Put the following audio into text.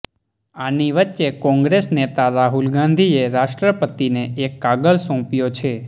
આની વચ્ચે કોંગ્રેસ નેતા રાહુલ ગાંધીએ રાષ્ટ્રપતિને એક કાગળ સોંપ્યો છે